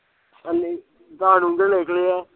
ਹੰਜੀ, ਦਸ ਡੋਂਗੇ ਲਿਖਲੇ ਆ